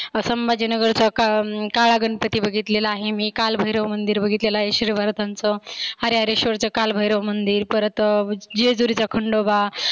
संभाजीनगरचा काळा अं गणपती बघितलेला आहे मी, कालभैरव मंदिर बघितलेला आहे श्रिभारतांच, हरेहरेश्वरच कालभैरव मंदिर परत जेजुरीचा खंडोबा.